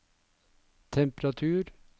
temperatur